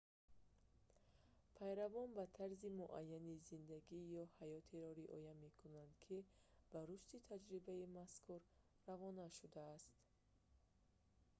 пайравон ба тарзи муайяни зиндагӣ ё ҳаётеро риоя мекунанд ки ба рушди таҷрибаи мазкур равона шудааст